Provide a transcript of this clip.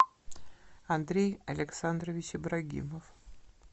андрей александрович ибрагимов